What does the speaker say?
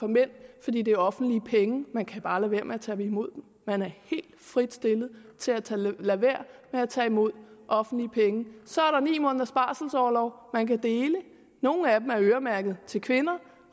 mænd fordi det er offentlige penge man kan bare lade være med at tage imod dem man er helt frit stillet til at lade være med at tage imod offentlige penge så er der ni måneders barselorlov man kan dele noget af den er øremærket til kvinder